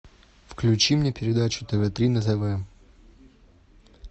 включи мне передачу тв три на тв